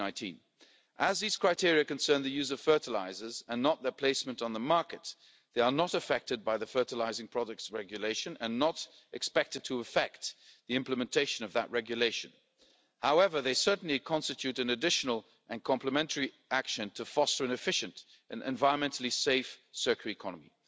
end of 2019. As these criteria concern the use of fertilisers, and not their placement on the market, they are not affected by the Fertilising Products Regulation and not expected to affect the implementation of that regulation. However, they certainly constitute an additional and complementary action to foster an efficient and environmentally safe circular